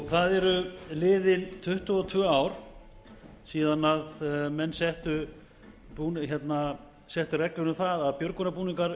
það eru liðin tuttugu og tvö ár frá því að menn settu reglur um það að björgunarbúningar